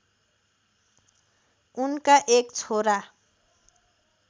उनका एक छोरा